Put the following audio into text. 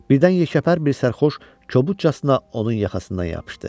Birdən yekəpər bir sərxoş kobudcasına onun yaxasından yapışdı.